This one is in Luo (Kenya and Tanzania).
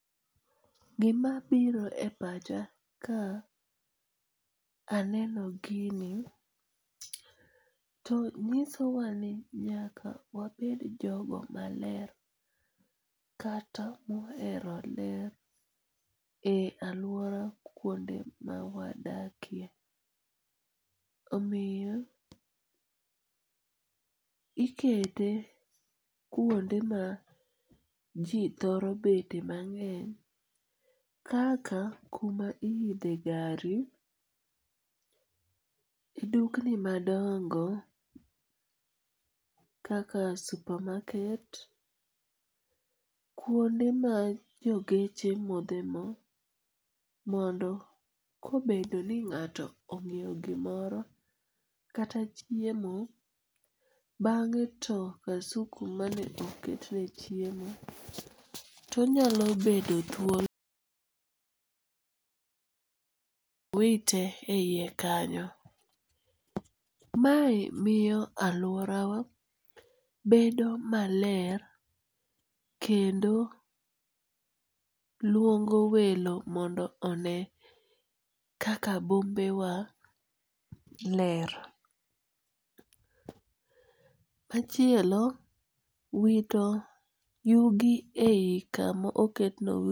Gima biro e pacha ka aneno gini, to nyisowani nyaka wabed jogo maler kata mohero ler e aluora e kuonde mawadakie, omiyo ikete kuonde ma ji thoro betie mang'eny kaka kuma iyithe gari, dukni madongo kaka supermarket, kuonde ma jo geche modhe mo, mondo kobedo ni ng'ato onyiewo gimoro kata chiemo bang'e to kasuku mane oketne chiemo to nyalo bedo thuolo wite e hiye kanyo, mae miyo aluorawa bedo maler kendo luongo welo mondo one kaka bombewa ler. Machielo wito yugi e yi kama oketno